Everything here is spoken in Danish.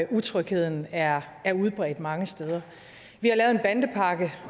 utrygheden er er udbredt mange steder vi har lavet en bandepakke